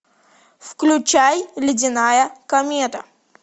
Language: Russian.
включай ледяная комета